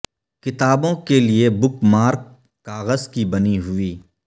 کتابوں کے لئے بک مارک کاغذ کی بنی ہوئی